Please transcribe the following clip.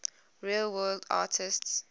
real world artists